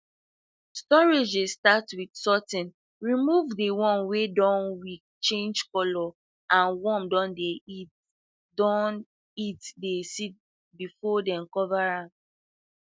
storage dey start with sorting remove de one wey weak change color or worm dun eat de dun eat de seed before dem cover am